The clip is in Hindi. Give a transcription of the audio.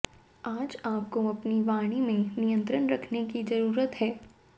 आज आपको अपनी वाणी में नियंत्रण रखने की जरूरत है